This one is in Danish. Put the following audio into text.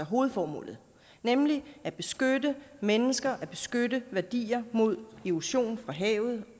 hovedformålet nemlig at beskytte mennesker og beskytte værdier mod erosion for havet